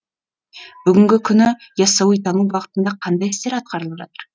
бүгінгі күні ясауитану бағытында қандай істер атқарылып жатыр